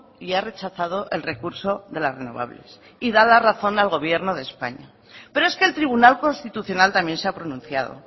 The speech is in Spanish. y ha rechazado el recurso de las renovables y da la razón al gobierno de españa pero es que el tribunal constitucional también se ha pronunciado